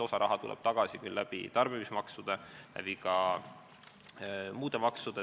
Osa raha tuleb küll tagasi tarbimismaksude ja ka muude maksude kaudu.